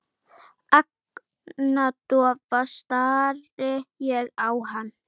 Agndofa stari ég á hana.